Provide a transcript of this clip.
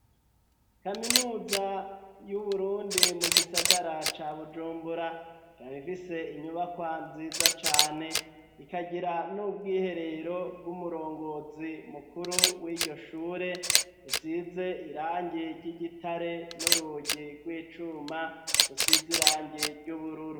Kaminuza y'uburundi mu gisagara ca bujumbura irab ifise inyubakwa nziza cane ikagira n'ubwiherero bw'umurongozi mukuru w'iryo shure isize irangi ry'igitare n'urugi rw'icuma rusize irangi ry'ubururu.